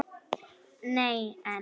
Nei en.